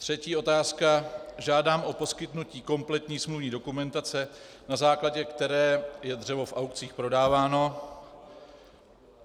Třetí otázka, žádám o poskytnutí kompletní smluvní dokumentace, na základě které je dřevo v aukcích prodáváno.